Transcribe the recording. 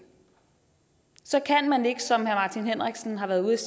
så kan man ikke som herre martin henriksen har været ude